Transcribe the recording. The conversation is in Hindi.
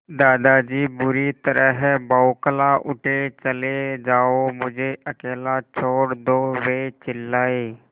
दादाजी बुरी तरह बौखला उठे चले जाओ मुझे अकेला छोड़ दो वे चिल्लाए